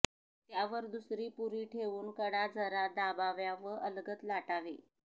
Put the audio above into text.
त्यावर दुसरी पुरी ठेवून कडा जरा दाबाव्या व अलगद लाटावे